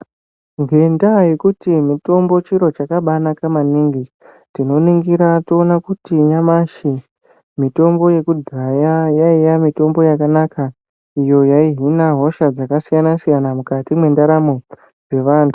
Ngendaa yekuti mitombo chiro chakabanaka maningi tinoningire toone kuti mitombo yakudhaya yaiya mitombo yakanaka iyo yaihina hosha dzakasiyana siyana mukati mendaramo yevanthu.